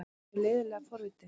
Hann er leiðinlega forvitinn.